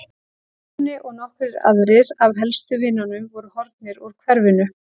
Grjóni og nokkrir aðrir af helstu vinunum voru horfnir úr hverfinu.